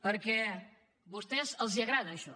perquè a vostès els agrada això